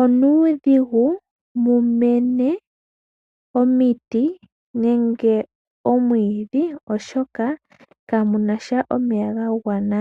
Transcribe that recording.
onuudhigu mu mene omiti nenge omwiidhi oshoka kamunasha omeya ga gwana.